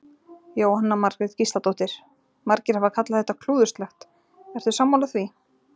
Jóhanna Margrét Gísladóttir: Margir hafa kallað þetta klúðurslegt, ertu sammála því?